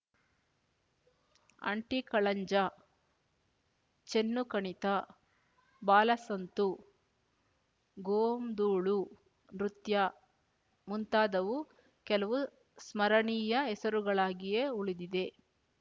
ಆಂಟಿಕಳಂಜ ಚೆನ್ನುಕಣಿತ ಬಾಲಸಂತು ಗೋಂದೋಳು ನೃತ್ಯ ಮುಂತಾದವು ಕೆಲವು ಸ್ಮರಣೆಯ ಹೆಸರುಗಳಾಗಿಯೇ ಉಳಿದಿದೆ